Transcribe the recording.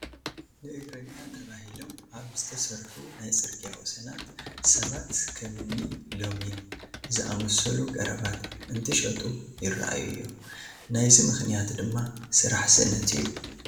ንእግረኛ ተባሂሎም ኣብ ዝተሰርሑ ናይ ፅርጊያ ወሰናት ሰባት ከም እኒ ለሚን ዝኣምሰሉ ቀረባት እንትሸጡ ይርአዩ እዮም፡፡ ናይዚ ምኽንያት ድማ ስራሕ ስእነት እዩ፡፡